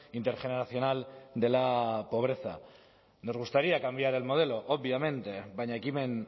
intergeneracional de la pobreza nos gustaría cambiar el modelo obviamente baina ekimen